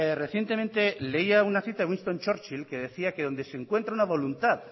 recientemente leía una cita de winston churchill que decía que donde se encuentra una voluntad